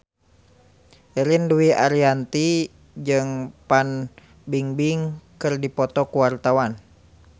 Ririn Dwi Ariyanti jeung Fan Bingbing keur dipoto ku wartawan